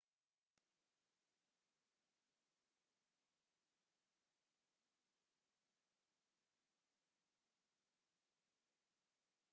waxay ku diiwansan yihiin liiska aasaarta aduunka ee unesco